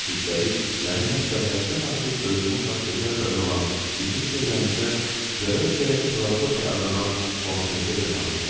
Üstəlik məni hətta həddən artıq özünə xas gözəl qadın olan, bizim çevrəmizdə Zara isə filosofiya adlanan Hortense ilə tanış elədi.